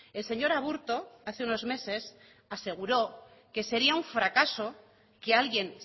el señor aburto hace unos meses aseguró que sería un fracaso que alguien